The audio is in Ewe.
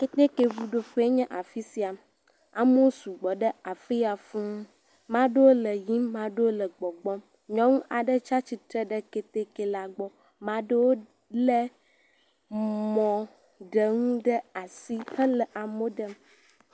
Ketekeŋuɖoƒe nye afi sia, amewo su gbɔ ɖe afi sia fũu, ame aɖewo le yiyim, ame aɖewo le gbɔgbɔm, nyɔnu aɖe tsi atsitre ɖe keteke la gbɔ, ame aɖewo lé mmɔɖenu ɖe asi hele amewo ɖem.